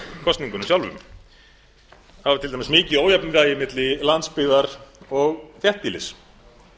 kosningunum sjálfum það var til dæmis mikið ójafnræði milli landsbyggðar og þéttbýlis